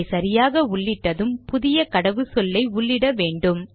இதை சரியாக உள்ளிட்டதும் புதிய கடவுச்சொல்லை உள்ளிட்ட வேண்டும்